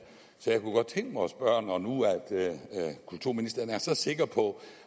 så jeg kunne godt tænke mig når nu kulturministeren er så sikker på